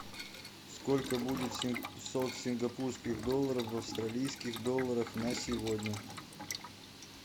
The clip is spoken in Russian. сколько будет семьсот сингапурских долларов в австралийских долларах на сегодня